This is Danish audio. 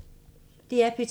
DR P2